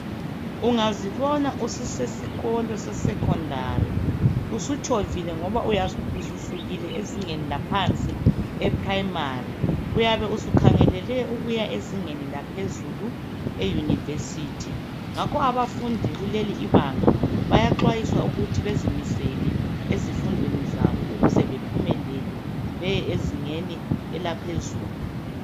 Ungazibona ususesikolo se secondary usutshovile ngoba uyabe ususukile ezingeni laphansi e primary uyabe usukhangelele ukuya ezingeni laphezulu e university ngakho abafundi kuleli ibanga bayaxwayiswa ukuthi bazimisele ezifundweni ukuze baphumelele beye ezingeni elaphezulu.